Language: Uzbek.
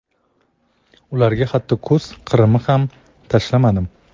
ularga hatto ko‘z qirimni ham tashlamadim.